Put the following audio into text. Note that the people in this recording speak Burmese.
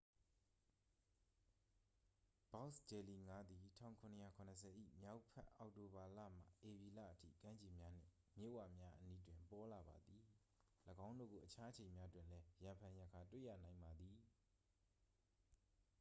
ဘောက်စ်ဂျယ်လီငါးသည် 1770 ၏မြောက်ဘက် အောက်တိုဘာလမှ ဧပြီလအထိ ကမ်းခြေများနှင့် မြစ်ဝများအနီးတွင် ပေါ်လာပါသည် ၎င်းတို့ကို အခြားအချိန်များတွင်လည်း ရံဖန်ရံခါတွေ့ရနိုင်ပါသည်